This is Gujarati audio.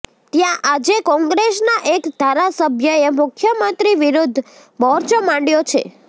ત્યાં આજે કોંગ્રેસના એક ધારાસભ્યએ મુખ્યમંત્રી વિરૂદ્ધ મોરચો માંડ્યો છે